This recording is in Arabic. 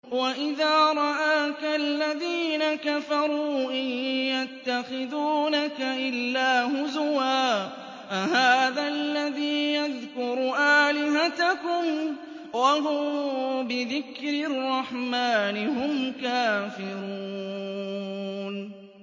وَإِذَا رَآكَ الَّذِينَ كَفَرُوا إِن يَتَّخِذُونَكَ إِلَّا هُزُوًا أَهَٰذَا الَّذِي يَذْكُرُ آلِهَتَكُمْ وَهُم بِذِكْرِ الرَّحْمَٰنِ هُمْ كَافِرُونَ